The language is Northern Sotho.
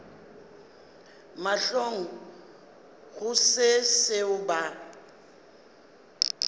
mahlong go se seo ba